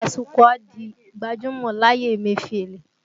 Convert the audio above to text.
Tasukúà di gbajúmọ̀ láyé Emefiele